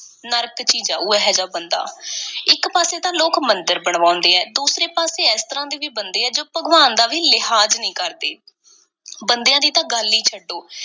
ਨਰਕ ਚ ਹੀ ਜਾਊ, ਇਹੋ ਜਿਹਾ ਬੰਦਾ। ਇੱਕ ਪਾਸੇ ਤਾਂ ਲੋਕ ਮੰਦਿਰ ਬਣਵਾਉਂਦੇ ਐ, ਦੂਸਰੇ ਪਾਸੇ ਇਸ ਤਰ੍ਹਾਂ ਦੇ ਵੀ ਬੰਦੇ ਐ ਜੋ ਭਗਵਾਨ ਦਾ ਵੀ ਲਿਹਾਜ਼ ਨਹੀਂ ਕਰਦੇ, ਬੰਦਿਆਂ ਦੀ ਤਾਂ ਗੱਲ ਈ ਛੱਡੋ।